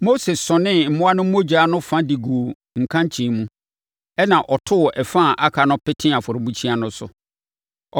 Mose sɔnee mmoa no mogya no fa de guu nkankyee mu, ɛnna ɔtoo ɛfa a aka no petee afɔrebukyia no so.